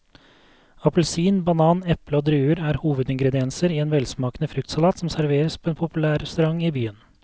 Appelsin, banan, eple og druer er hovedingredienser i en velsmakende fruktsalat som serveres på en populær restaurant i byen.